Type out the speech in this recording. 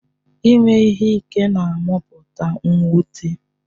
Ime ihe ike na-amụpụta mwute.